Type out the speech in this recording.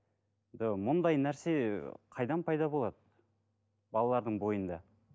мұндай нәрсе қайдан пайда болады балалардың бойында